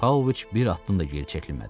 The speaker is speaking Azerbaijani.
Pauloviç bir addım da geri çəkilmədi.